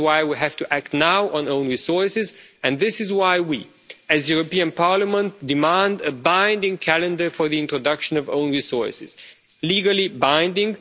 This is why we have to act now on own resources and this is why we, as the European Parliament, demand a binding calendar for the introduction of own resources, legally binding.